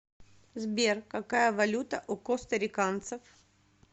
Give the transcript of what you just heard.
сбер какая валюта у костариканцев